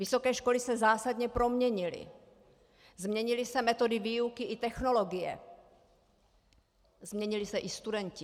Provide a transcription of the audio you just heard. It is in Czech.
Vysoké školy se zásadně proměnily, změnily se metody výuky i technologie, změnili se i studenti.